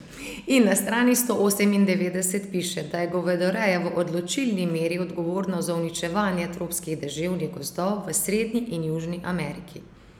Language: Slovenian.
In na strani sto osemindevetdeset piše, da je govedoreja v odločilni meri odgovorna za uničevanje tropskih deževnih gozdov v Srednji in Južni Ameriki.